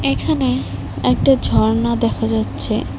এখানে একটা ঝর্ণা দেখা যাচ্ছে।